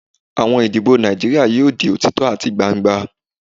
Awọn idibo Naijiria yoo di otitọ ati gbangba